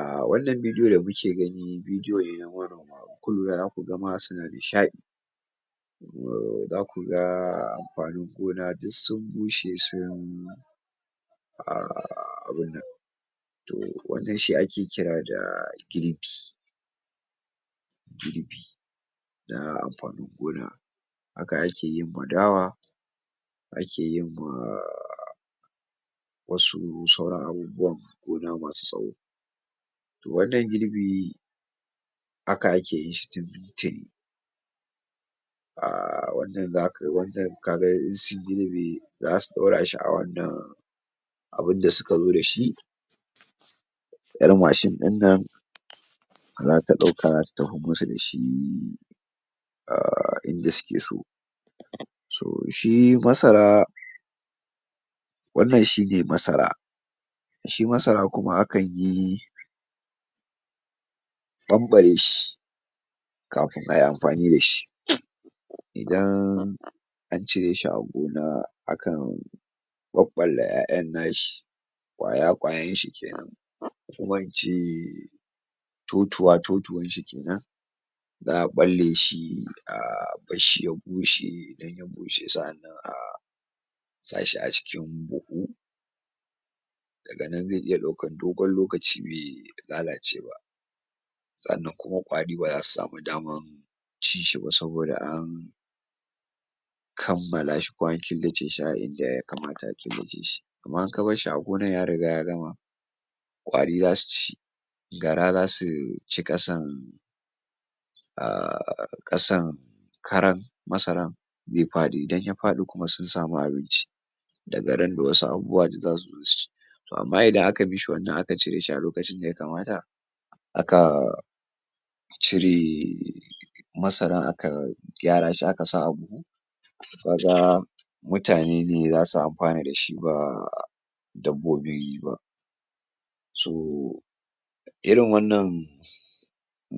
A wannan bidiyo da kuke gani bidiyo ne na manoma in kun lura ma za ku ga ma suna nishaɗi uhh za ku ga amfanin gona duk sun bushe sun ahh abin nan to wannan shi ake ƙira da girbi girbi na amfanin gona haka ake yin ma dawa ake yin ma ahh wasu sauran abubuwan gona masu tsawo. To wannan girbi haka ake yin shi ahh wannan za ka wannan ka ga in su girbe za su ɗora shi a wannan abun da suka zo da shi ƴar mashin ɗin nan za ta ɗauka ta tafin masu da shi um ahh inda suke so. so shi masara wannan shi ne masara, shi masara kuma akan yi ɓamɓare shi kafin a yi amfani da shi idan an cire shi a gona a kan ɓaɓɓalla ƴaƴan nashi ƙwaya ƙwayanshi kenan kuma in ce totuwa totuwan shi kenan za a ɓalle shi um a bar shi ya bushe idan ya bushe sa’annan a sa shi a cikin buhu daga nan ze iya ɗaukan dogon lokaci be lalace ba sannan kuma ƙwari ba za su samu daman ci shi ba saboda an kammala shi ko an killace shi a inda ya kamata a killace shi amma in ka bar shi a gonan ya riga ya gama ƙwari za su ci, gara za su ci ƙasan ahh ƙasan karan masaran ze faɗi idan ya faɗi kuma sun samu abinci da randa wasu abubuwa duk za su zo su ci to amma idan aka mi shi wannan aka cire shi a lokacin da ya kamata, aka cire masaran aka gyara shi aka sa a buhu, ka ga mutane ne za su amfana da shi ba dabbaobi ba so irin wannan